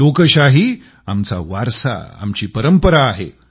लोकशाही आमचा वारसा आमची परंपरा आहे